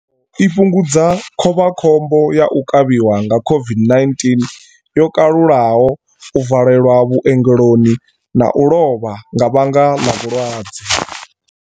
I fhungudza khovhakhombo ya u kavhiwa nga COVID-19 yo kalulaho, u valelwa vhu ongeloni na u lovha nga vhanga ḽa vhu lwadze.